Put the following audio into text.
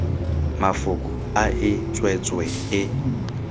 mafoko a e tswetswe e